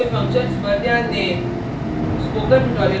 इसके functions पर ध्यान दें